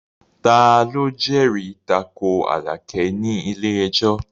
Ta ló jẹ́rìí tako Àlàkẹ́ ní ilé ẹjọ́?